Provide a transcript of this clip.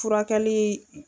Furakɛli